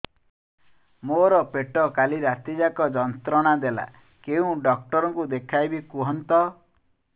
ମୋର ପେଟ କାଲି ରାତି ଯାକ ଯନ୍ତ୍ରଣା ଦେଲା କେଉଁ ଡକ୍ଟର ଙ୍କୁ ଦେଖାଇବି କୁହନ୍ତ